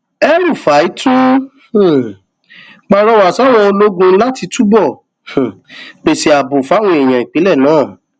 elrufai tún um pàrọwà sáwọn ológun láti túbọ um pèsè ààbò fáwọn èèyàn ìpínlẹ náà